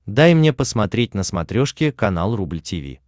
дай мне посмотреть на смотрешке канал рубль ти ви